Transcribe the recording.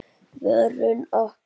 Vörn okkar